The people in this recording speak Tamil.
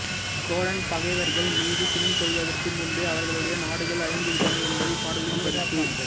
சோழன் பகைவர்கள் மீது சினம் கொள்வதற்கு முன்பே அவர்களுடைய நாடுகள் அழிந்துவிட்டன என்பது இப்பாடலின் கருத்து